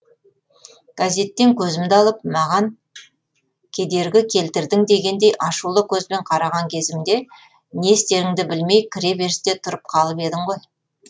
газеттен көзімді алып маған кедергі келтірдің дегендей ашулы көзбен қараған кезімде не істеріңді білмей кіре берісте тұрып қалып едің ғой